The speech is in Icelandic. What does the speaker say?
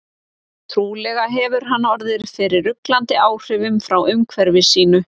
Trúlega hefur hann orðið fyrir ruglandi áhrifum frá umhverfi sínu.